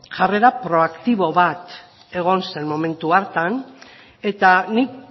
jarrera proaktibo bat egon zen momentu hartan eta nik